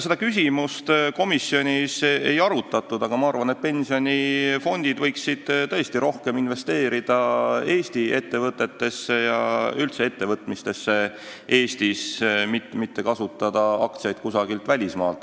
Seda küsimust komisjonis ei arutatud, aga ma arvan, et pensionifondid võiksid tõesti rohkem investeerida Eesti ettevõtetesse ja üldse ettevõtmistesse Eestis, selle asemel et kasutada aktsiaid kusagilt välismaalt.